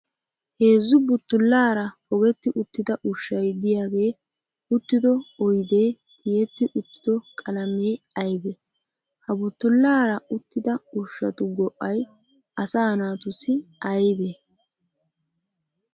Heezzu buttullaara pogetti uttida ushshay diyaagee uttido oyidee tiyetti uttido qalamee ayibee? Ha buttullaara uttida ushshatu go'ay asaa naatussi ayibee?